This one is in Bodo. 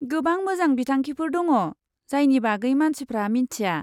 गोबां मोजां बिथांखिफोर दङ, जायनि बागै मानसिफ्रा मिन्थिया।